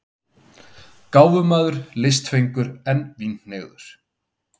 Gáfumaður, listfengur, en vínhneigður.